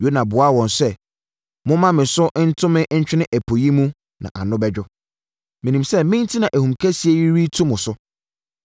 Yona buaa wɔn sɛ, “Momma me so nto me ntwene ɛpo yi mu, na ano bɛdwo. Menim sɛ me enti na ahum kɛseɛ yi retu mo so.”